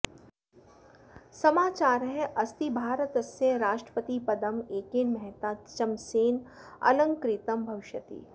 समाचारः अस्ति भारतस्य राष्ट्रपतिपदं एकेन महता चमसेन अलंकृतं भविष्यति